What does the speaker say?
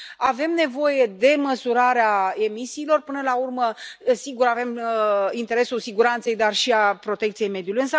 Avem nevoie de măsurarea emisiilor, până la urmă, sigur, avem interesul siguranței, dar și al protecției mediului.